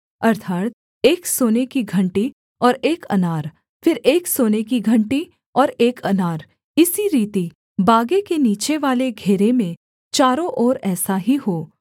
अर्थात् एक सोने की घंटी और एक अनार फिर एक सोने की घंटी और एक अनार इसी रीति बागे के नीचेवाले घेरे में चारों ओर ऐसा ही हो